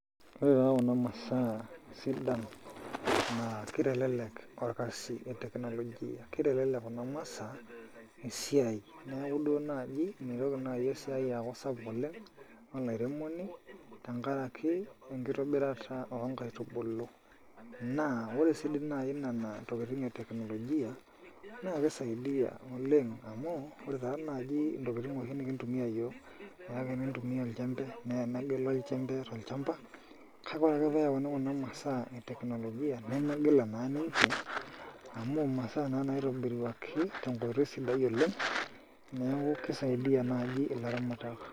Ore taa kuna masaa sidan naa kitelelek orkasi o technology kitelelek kuna masaa esiai neeku duo naaji mitoki naai esiai aaku sapuk oleng' olairemoni tenkaraki enkitobirata oonkaitubulu naa ore sii dii naai nena tokitin e teknolojia naa kisaidia oleng' amu ore taa naaji ntokitin nikintumia iyiook naa kakintumia oljembe naa enegila oljembe tololchamba, kake ore ake teneyauni kuna masaa e teknolojia nemegila naa ninche amu imasaa naa naitoburuaki tenkoitoi sidai oleng' neeku kisaidia naai ilaramatak.